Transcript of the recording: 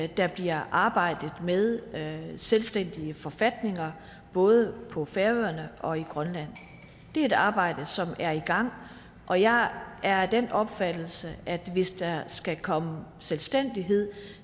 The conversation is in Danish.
at der bliver arbejdet med med selvstændige forfatninger både på færøerne og i grønland det er et arbejde som er i gang og jeg er af den opfattelse at hvis der skal komme selvstændighed